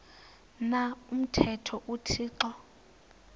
na umthetho uthixo